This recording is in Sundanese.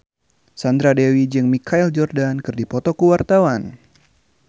Sandra Dewi jeung Michael Jordan keur dipoto ku wartawan